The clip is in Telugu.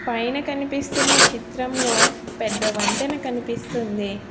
పైన కనిపిస్తున్న చిత్రంలో పెద్ద వంతెన కనిపిస్తుంది.